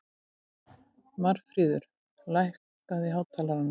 Marfríður, lækkaðu í hátalaranum.